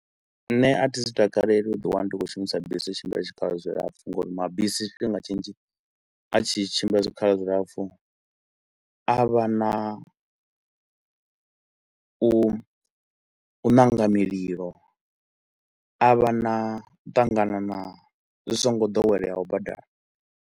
Nṋe a thi zwi takaleli u ḓi wana ndi khou shumisa bisi u tshimbila tshikhala tshilapfu ngauri mabisi tshifhinga tshinzhi a tshi tshimbila zwikhala zwilapfu a a vha na u ṋanga mililo a a vha na u ṱangana na zwi so ngo doweleaho badani.